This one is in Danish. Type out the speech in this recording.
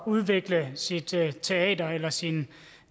udvikle sit teater teater eller sin